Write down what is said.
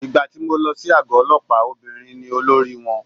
Ìgbà tí mo lọ sí àgọ́ ọlọ́pàá obìnrin ni olórí wọn.